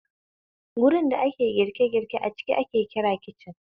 Wurin da ake girke girke a ciki ake kira kicin